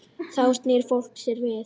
Þá snýr fólk sér við.